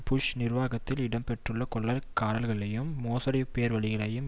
push நிர்வாகத்தில் இடம்பெற்றுள்ள கொள்ளைக்காரர்களையும் மோசடிப்பேர்வழிகளையும்